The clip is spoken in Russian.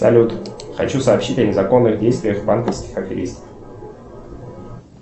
салют хочу сообщить о незаконных действиях банковских аферистов